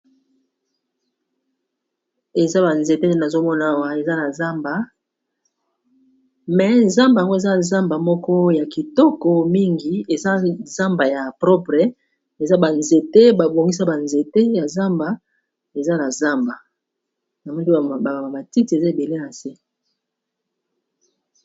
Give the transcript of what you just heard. Eza ba nzete nazomonawa eza na zamba me zamba yango eza zamba moko ya kitoko mingi eza zamba ya propre eza banzete, babongisa banzete ya zamba eza na zamba na moliwa baa matiti eza ebele na se.